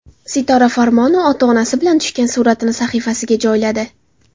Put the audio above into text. Sitora Farmonova ota-onasi bilan tushgan suratini sahifasiga joyladi.